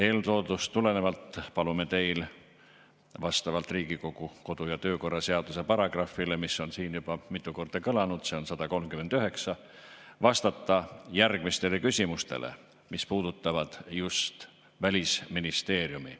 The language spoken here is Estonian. Eeltoodust tulenevalt palume teil vastavalt Riigikogu kodu- ja töökorra seaduse paragrahvile, mis on siin juba mitu korda kõlanud, see on 139, vastata järgmistele küsimustele, mis puudutavad just Välisministeeriumi.